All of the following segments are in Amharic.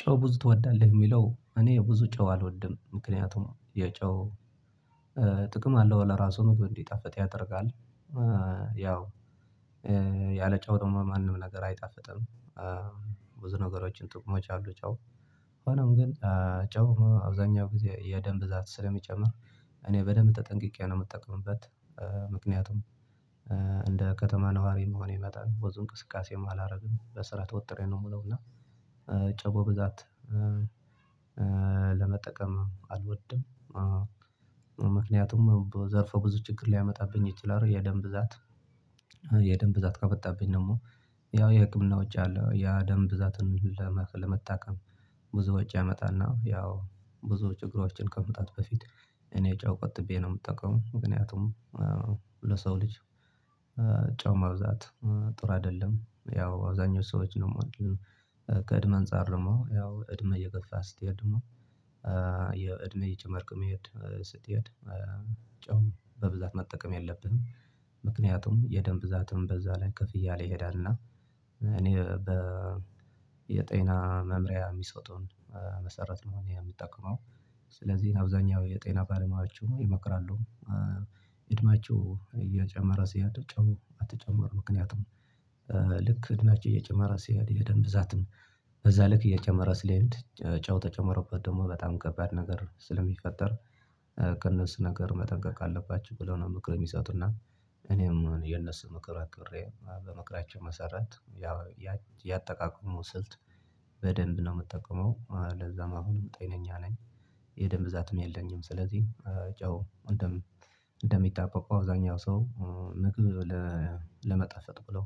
ጨው ብዙ ትወዳለህ? የሚለው እኔ ብዙ ጨው አልወድም ምክንያቱም የጨው ጥቅም አለው ለራሱ ነው ምግብ እንዲጣፈጥ ያደርጋል ያው ያለጨው ድግሞ ማንም ነገር አይጣፍጥም ብዙ ነገሮችን ጥቅሞች አሉት ጨው ሆኖም ግን ጨው አብዛኛው ጊዜ የደም ብዛት ስለሚጨምር እኔ በደምብ ተጠንቅቄ ነው የምጠቅምበት ምክንያቱም ከተማ ነዋሪ እንደመሆኔ መጠን ብዙ እንቅስቃሴም አላረግም በስራ ተወጥሬ ነው የምለው እና ጨው በብዛት ለመጠቀም አልወድም ምክንያቱም ዘርፈ ብዙ ችግር ሊያመጣብኝ ይችላል የደም ብዛት የደም ብዛት ከመጣብኝ ደግሞ ያው የህክምና ወጭ አለ ያ ደም ብዛትን ለመታከም ብዙ ወጭ ያመጣና ያው ብዙ ችግሮችን ከማምጣቱ በፊት እኔ ጨው ቆጥቤ ነው የምጠቀመው ምክንያቱም ለሰው ልጅ ጨው መብዛት ጥሩ አይደለም ያው አብዛኛው ሰዎች ነው ከእድሜ አንፃር ደግሞ ያው እድሜ እየገፋ ስትሄድ ደግሞ የእድሜ እየጨመርክ መሄድ ስትሄድ ጨው በብዛት መጠቀም የለብንም ምክንያቱም የደም ብዛትም በዛ ላይ ከፍ እያለ ይሄዳል እና በ የጤና መምሪያ የሚሰጡን መሰረት ነው እኔ የምጠቀመው ስለዚህ አብዛኛው የጤና ባለሙያዎች ምን ይመክራሉ እድሜያችሁ እያጨመረ ሲሄድ ጨው አትጨምሩ ምክንያቱም ልክ እድሜያችን እየጨመረ ሲሄድ የደም ብዛትም በዛ ልክ እየጨመረ ስለሚሄድ ጨው ተጨምሮበት ደግሞ በጣም ከባድ ነገር ስለሚፈጠር ከእነሱ ነገር መጠንቀቅ አለባችሁ ብለው ነው ምክር የሚሰጡነ እኔም የነሱን ምክር አክብሬ በምክራቸው መሰረት ያ ያጠቃቀሙ ስልት በደንብ ነው የምጠቀመው ለዛም አሁን ጤነኛ ነኝ የደም ብዛትም የለኝም ስለዚህ ጨው እንደሚጣባባው አብዛኛው ሰው ለመጣፈጥ ብለው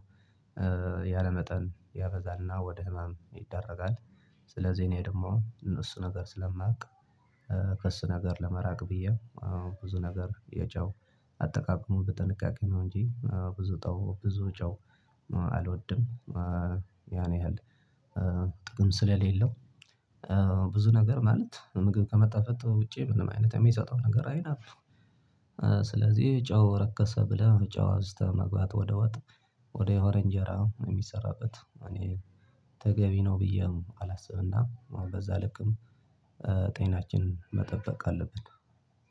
ያለመጠን ያበዛልና ወደ ህመም ይደረጋል ስለዚህ እኔ ደግሞ እነሱ ነገር ስለማውቅ ከእሱ ነገር ለመራቅ ብዬ ብዙ ነገር የጫው አጠቃቀሙ በጥንቃቄ ነው እንጂ ብዙ ጫው ብዙ ጫው አልወድም ያን ያህል ጥቅም ስለሌለው ብዙ ነገር ማለት ምግብ ከመጣፈጡ ውጪ ምንም አይነት የሚሰጠው ነገር አይነት ነው ስለዚህ ጨው ረከሰ ብለህ ጨው አዝተህ መግባት ወደ ወጥ ወደ እንጀራ የሚሰራበት እኔ ተገቢ ነው ብዬም አላስብና በዛ ልክም ጤናችንን መጠበቅ አለብን